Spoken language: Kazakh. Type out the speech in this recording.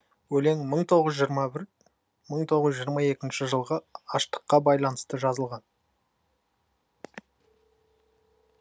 өлең мың тоғыз жүз жиырма бір мың тоғыз жүз жиырма екінші жылғы аштыққа байланысты жазылған